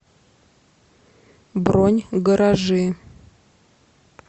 бронь гаражи